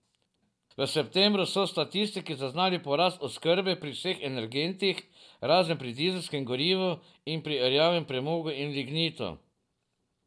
V septembru so statistiki zaznali porast oskrbe pri vseh energentih, razen pri dizelskemu gorivu in pri rjavemu premogu in lignitu.